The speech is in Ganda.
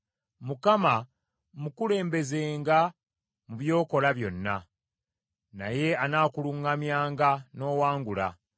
Mukama mukulembezenga mu by’okola byonna, naye anaakuluŋŋamyanga n’owangula.